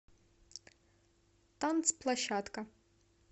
танцплощадка